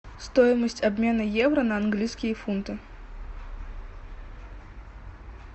стоимость обмена евро на английские фунты